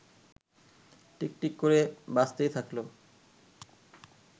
টিকটিক করে বাজতেই থাকল